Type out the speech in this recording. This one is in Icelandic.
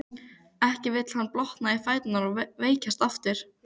Ekki vill hann blotna í fæturna og veikjast aftur.